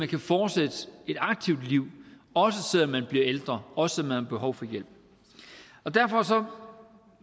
kan fortsætte et aktivt liv også selv om man bliver ældre også man har behov for hjælp derfor